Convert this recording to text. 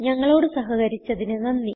ഞങ്ങളോട് സഹകരിച്ചതിന് നന്ദി